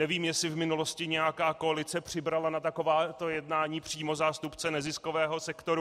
Nevím, jestli v minulosti nějaká koalice přibrala na takováto jednání přímo zástupce neziskového sektoru.